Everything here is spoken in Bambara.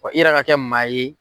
i yɛrɛ ka kɛ maa ye.